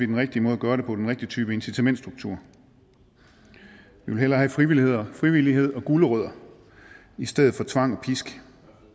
den rigtige måde at gøre det på den rigtige type incitamentsstruktur vi vil hellere have frivillighed frivillighed og gulerødder i stedet for tvang og pisk